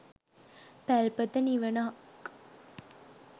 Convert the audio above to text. පැල්පත නිවනක්